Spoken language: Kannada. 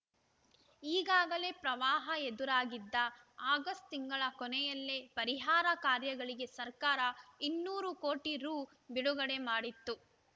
ಈಗಾಗಲೇ ಪ್ರವಾಹ ಎದುರಾಗಿದ್ದ ಆಗಸ್ಟ್‌ ತಿಂಗಳ ಕೊನೆಯಲ್ಲೇ ಪರಿಹಾರ ಕಾರ್ಯಗಳಿಗೆ ಸರ್ಕಾರ ಇನ್ನೂರು ಕೋಟಿ ರು ಬಿಡುಗಡೆ ಮಾಡಿತ್ತು